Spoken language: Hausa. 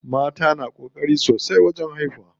Mata na ƙokari sosai wajen haihuwa.